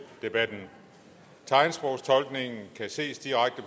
debatten tegnsprogstolkningen kan ses direkte